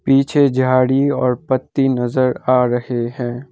पीछे झाड़ी और पत्ती नजर आ रहे हैं।